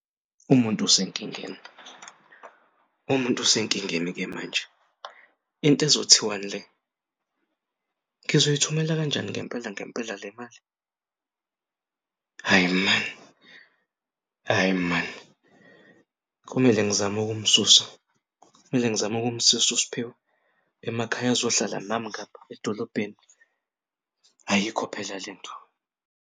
Umuntu usenkingeni, umuntu usenkingeni-ke manje into ezothiwani le? Ngizoyithumela kanjani ngempela ngempela le mali? Hhayi maan, hhayi maan kumele ngizam'ukumsusa kumele ngizame ukumsus'uSphiwe emakhaya azohlala nami ngapha edolobheni. Ayikho phela lento.